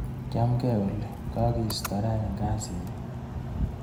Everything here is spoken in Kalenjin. Chamgee Olly, kakiista rani eng kazinyu.